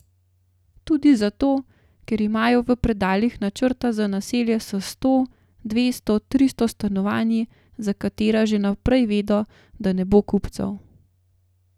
Tudi zato, ker imajo v predalih načrte za naselja s sto, dvesto, tristo stanovanji, za katera že vnaprej vedo, da ne bo kupcev.